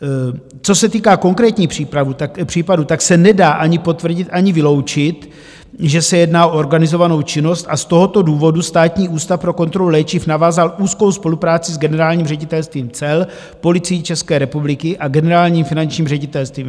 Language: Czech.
Co se týká konkrétních případů, tak se nedá ani potvrdit, ani vyloučit, že se jedná o organizovanou činnost, a z tohoto důvodu Státní ústav pro kontrolu léčiv navázal úzkou spolupráci s Generálním ředitelstvím cel, Policií České republiky a Generálním finančním ředitelstvím.